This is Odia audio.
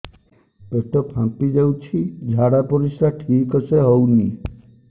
ପେଟ ଫାମ୍ପି ଯାଉଛି ଝାଡ଼ା ପରିସ୍ରା ଠିକ ସେ ହଉନି